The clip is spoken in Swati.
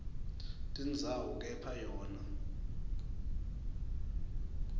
tindzawo kepha yona